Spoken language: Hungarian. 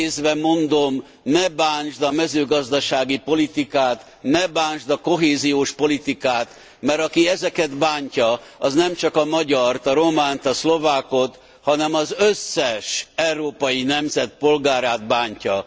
idézve mondom ne bántsd a mezőgazdasági politikát, ne bántsd a kohéziós politikát, mert aki ezeket bántja, az nem csak a magyart, a románt, a szlovákot, hanem az összes európai nemzet polgárát bántja.